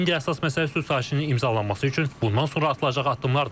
İndi əsas məsələ sülh sazişinin imzalanması üçün bundan sonra atılacaq addımlardır.